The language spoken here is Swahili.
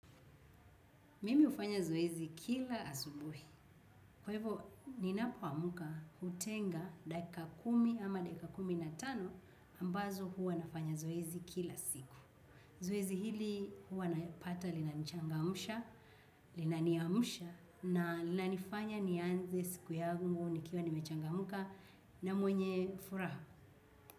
Mimi hufanya zoezi kila asubuhi. Kwa hivo, ninapo amuka hutenga dakika kumi ama dakika kumi na tano ambazo huwa nafanya zoezi kila siku. Zoezi hili huwa naipata linanichangamsha, linaniamsha, na linanifanya nianze siku ya yangu, nikiwa nimechangamka, na mwenye furaha.